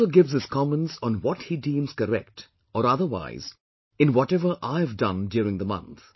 He also gives his comments on what he deems correct or otherwise in whatever I have done during the month